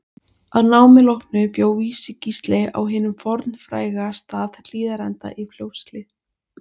Að námi loknu bjó Vísi-Gísli á hinum fornfræga stað Hlíðarenda í Fljótshlíð.